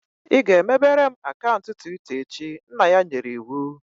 "Ị ga-emebere m akaụntụ Twitta echi" nna ya nyere iwu